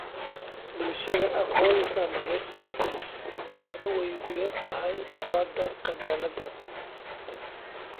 Bulshadii aqoonta lahayd way ku yar tahay colaadaha qabyaaladda.